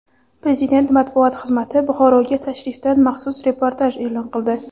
Prezident matbuot xizmati Buxoroga tashrifdan maxsus reportaj e’lon qildi.